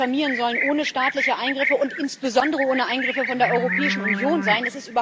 Die Familien sollen ohne staatliche Eingriffe und insbesondere ohne Eingriffe von der Europäischen Union sein.